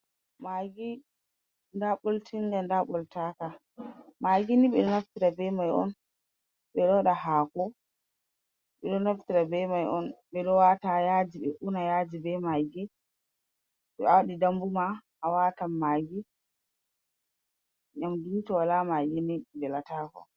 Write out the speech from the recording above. Magi nda ɓoltinga nda ɓoltaka, magi ni ɓe ɗo naftira be mai on, ɓe ɗo waɗa haako, be ɗon naftira be mai on ɓe wata ha yaaji ɓe una yaaji be magi, to awaɗi dambu ma awatan magi, nƴamduni to woola magi velata.